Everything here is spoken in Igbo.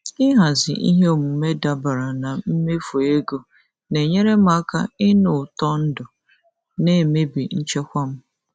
Ịhazi ihe omume dabara na mmefu ego na-enyere m aka ịnụ ụtọ ndụ na-emebi nchekwa m.